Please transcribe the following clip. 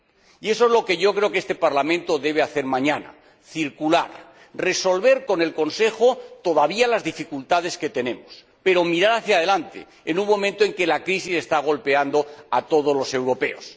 Y eso es lo que yo creo que este Parlamento debe hacer mañana circular, resolver con el Consejo las dificultades que todavía tenemos, pero mirar hacia adelante en un momento en el que la crisis está golpeando a todos los europeos.